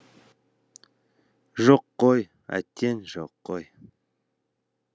жоқ қой әттең жоқ қой